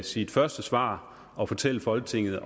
sit første svar og fortælle folketinget